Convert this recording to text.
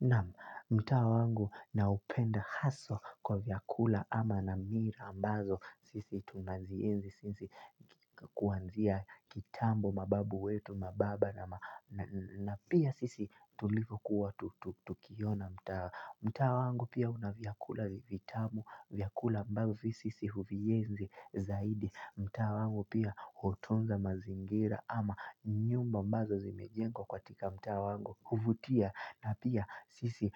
Naam mtaa wangu naupenda hasa kwa vyakula ama na mila ambazo sisi tunazienzi sisi kuanzia kitambo mababu wetu mababa na pia sisi tulivyokuwa tukiona mtaa. Mtaa wangu pia una vyakula vitamu, vyakula ambavyo sisi huvienzi zaidi mtaa wangu pia hotunza mazingira ama nyumba ambazo zimejengwa katika mtawa wangu, huvutia na pia sisi